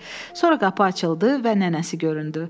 Sonra qapı açıldı və nənəsi göründü.